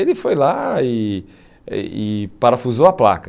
Ele foi lá e e e parafusou a placa.